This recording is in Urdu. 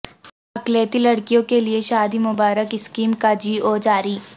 اقلیتی لڑکیوں کے لئے شادی مبارک اسکیم کا جی او جاری